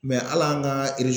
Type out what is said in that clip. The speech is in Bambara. al'an ka